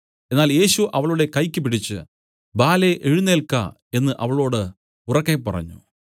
എന്നാൽ യേശു അവളുടെ കൈയ്ക്ക് പിടിച്ച് ബാലേ എഴുന്നേല്ക്ക എന്നു അവളോട് ഉറക്കെ പറഞ്ഞു